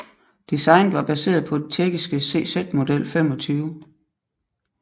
Designet var baseret på den tjekkiske CZ Model 25